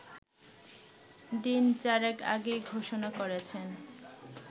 দিনচারেক আগেই ঘোষণা করেছেন